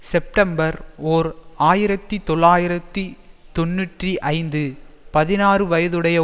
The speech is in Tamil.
செப்டம்பர் ஓர் ஆயிரத்தி தொள்ளாயிரத்தி தொன்னூற்றி ஐந்து பதினாறு வயதுடைய